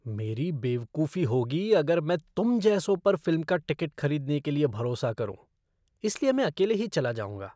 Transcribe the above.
मेरी बेवकूफी होगी अगर मैं तुम जैसों पर फ़िल्म का टिकट खरीदने के लिए भरोसा करूं, इसलिए मैं अकेले ही चला जाऊंगा।